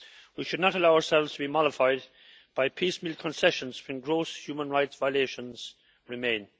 We should not allow ourselves to be mollified by piecemeal concessions when gross human rights violations remain.